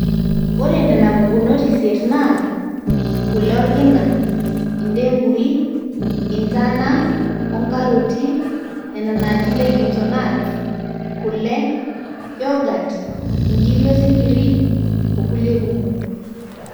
ore nena pukunot isiet naa; kule orkina, indengui, intana, onkaroti, nena naaji legumes o nuts, kule, youghut, inkiri osinkiri onkulie kumok